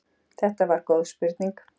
Þetta var góð spurning.